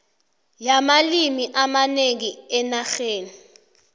yamalimi amanengi enarheni